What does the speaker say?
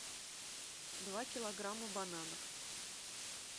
два килограмма бананов